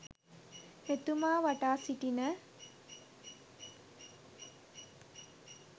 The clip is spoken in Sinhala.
මෙතුමා වටා සිටින